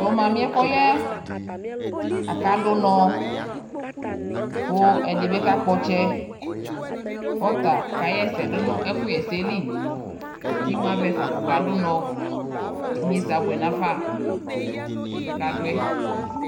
To mamiɛ kɔ yaɛ aka do unɔ mo ɛde be ka kpɔ ɔtsɛ ko ɔta ka hɛsɛ do no ɛkuhɛsɛli ke imu avɛfa kɔka do unɔ Inyesɛ abuɛ nafa, ɛfuɛ kadoɛ